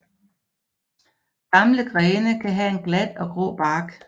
Gamle grene kan have en glat og grå bark